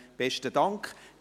Besten Dank.